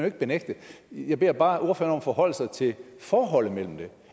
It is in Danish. ikke benægte jeg beder bare ordføreren forholde sig til forholdet mellem det